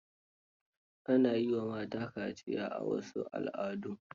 Ana yi wa mata kaciya a wasu al'adun